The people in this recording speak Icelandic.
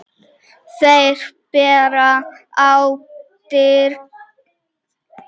Þeir bera ábyrgð.